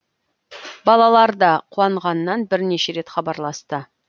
балалар да қуанғаннан бірнеше рет хабарласты